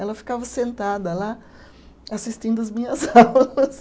Ela ficava sentada lá assistindo as minhas aulas.